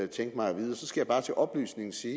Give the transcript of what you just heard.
tænke mig at vide så skal bare til oplysning sige